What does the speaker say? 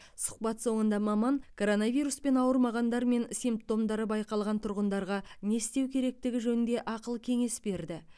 сұхбат соңында маман коронавируспен ауырмағандар мен симптомдары байқалған тұрғындарға не істеу керектігі жөнінде ақыл кеңес берді